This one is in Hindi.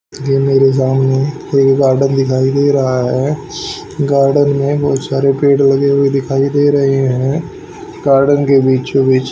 ये मेरे गांव में कोई गार्डन दिखाई दे रहा है गार्डन में बहुत सारे पेड़ लगे हुए दिखाई दे रहे हैं गार्डन के बीचों बीच--